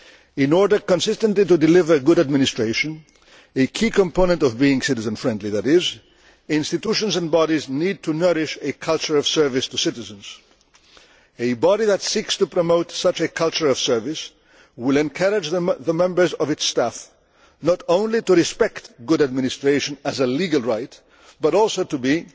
In order consistently to deliver good administration the key component of being citizen friendly institutions and bodies need to nurture a culture of service to citizens. A body that seeks to promote such a culture of service will encourage the members of its staff not only to respect good administration as a legal right but also